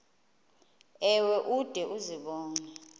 ewe ude uzibone